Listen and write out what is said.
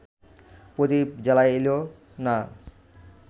প্রদীপ জ্বালাইল না